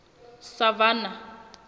savannah